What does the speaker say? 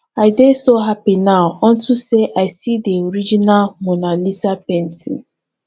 i dey so happy now unto say i see the original mona lisa painting